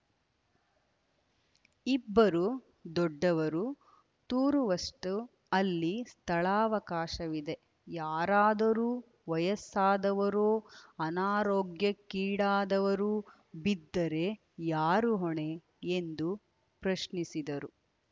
ಇಬ್ಬರು ದೊಡ್ಡವರು ತೂರುವಷ್ಟುಅಲ್ಲಿ ಸ್ಥಳಾವಕಾಶವಿದೆ ಯಾರಾದರೂ ವಯಸ್ಸಾದವರೋ ಅನಾರೋಗ್ಯಕ್ಕೀಡಾದವರು ಬಿದ್ದರೆ ಯಾರು ಹೊಣೆ ಎಂದು ಪ್ರಶ್ನಿಸಿದರು